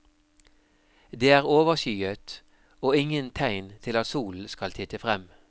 Det er overskyet, og ingen tegn til at solen skal titte frem.